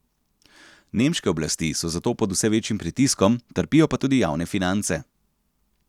Nemške oblasti so zato pod vse večjim pritiskom, trpijo pa tudi javne finance.